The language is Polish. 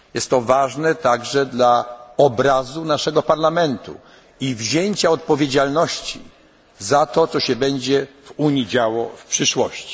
obecność na sali. Jest to także ważne dla obrazu naszego Parlamentu i wzięcia odpowiedzialności za to, co się będzie w Unii działo